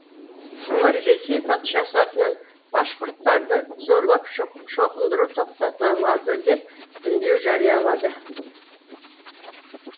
олар ресей патшасы атынан башқұрттарды зорлап шоқындыру тоқтатылады деп үндеу жариялады